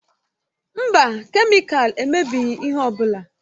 Mba, kemịkalụ emebighị ihe ọ bụla.